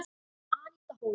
Aníta Hólm.